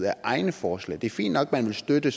af egne forslag det er fint nok at man vil støtte